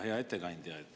Hea ettekandja!